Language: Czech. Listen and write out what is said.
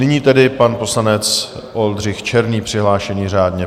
Nyní tedy pan poslanec Oldřich Černý, přihlášený řádně.